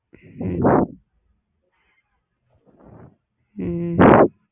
ஹம் ஹம்